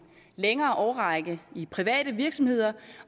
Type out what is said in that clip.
længere årrække i private virksomheder